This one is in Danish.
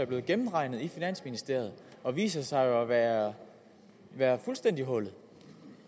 blevet gennemregnet i finansministeriet og viser sig jo at være være fuldstændig hullet